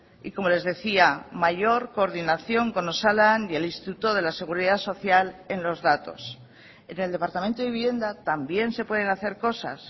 y como les decía mayor coordinación con osalan y el instituto de la seguridad social en los datos en el departamento de vivienda también se pueden hacer cosas